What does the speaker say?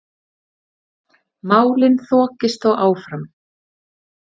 Málin þokist þó áfram.